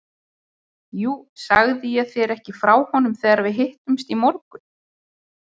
Jú, sagði ég þér ekki frá honum þegar við hittumst í morgun?